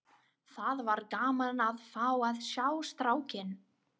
Það var gaman að fá að sjá strákinn!